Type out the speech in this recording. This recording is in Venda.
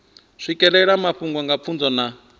swikelela mafhungo nga pfunzo na